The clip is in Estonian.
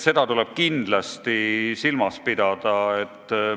Seda tuleb kindlasti silmas pidada.